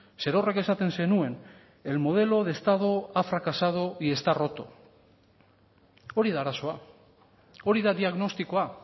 zerorrek esaten zenuen el modelo de estado ha fracasado y está roto hori da arazoa hori da diagnostikoa